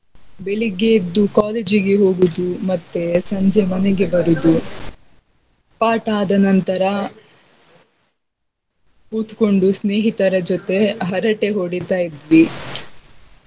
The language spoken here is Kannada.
ಬೆಳಿಗ್ಗೆ ಎದ್ದು college ಗೆ ಹೋಗುದು ಮತ್ತೆ ಸಂಜೆ ಮನೆಗೆ ಬರುದು. ಪಾಠಾ ಆದ ನಂತರಾ ಕುತ್ಕೊಂಡು ಸ್ನೇಹಿತರ ಜೊತೆ ಹರಟೆ ಹೊಡಿತಾ ಇದ್ವಿ